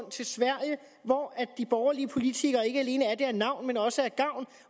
til sverige hvor de borgerlige politikere ikke alene er det af navn men også af gavn